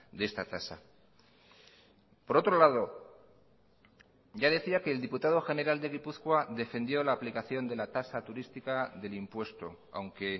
de esta tasa por otro lado ya decía que el diputado general de gipuzkoa defendió la aplicación de la tasa turística del impuesto aunque